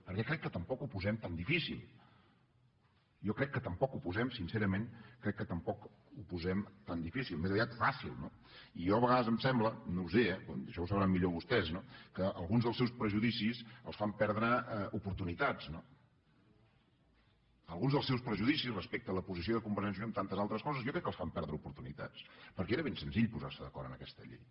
perquè crec que tampoc ho posem tan difícil sincerament jo crec que tampoc ho posem tan difícil més aviat fàcil no i a mi a vegades em sembla no ho sé eh això ho deuen saber millor vostès que alguns dels seus prejudicis els fan perdre oportunitats no alguns dels seus prejudicis respecte a la posició de convergència i unió en tantes altres coses jo crec que els fan perdre oportunitats perquè era ben senzill posar se d’acord en aquesta llei